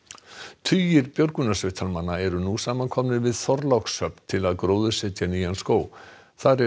tugir björgunarsveitarmanna eru nú saman komnir við Þorlákshöfn til að gróðursetja nýjan skóg þar er